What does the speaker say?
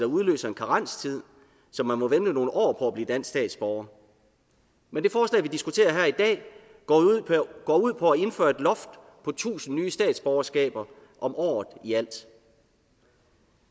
udløser en karenstid så man må vente nogle år på at blive dansk statsborger men det forslag vi diskuterer her i dag går ud på at indføre et loft på tusind nye statsborgerskaber om året i alt